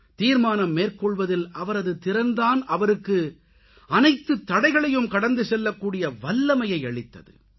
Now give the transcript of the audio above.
தீர்மானம் மேற்கொள்வதில் அவரது திறன் தான் அவருக்கு அனைத்துத் தடைகளையும் கடந்து செல்லக் கூடிய வல்லமையை அளித்தது